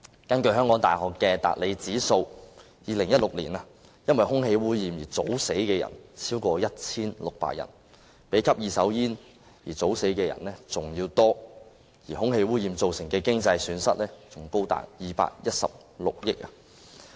根據香港大學的達理指數，在2016年，因為空氣污染而早死的人超過 1,600 人，較因吸二手煙而早死的人數還要多，而空氣污染造成的經濟損失更高達216億元。